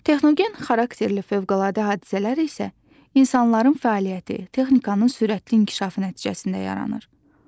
Texnogen xarakterli fövqəladə hadisələr isə insanların fəaliyyəti, texnikanın sürətli inkişafı nəticəsində yaranır.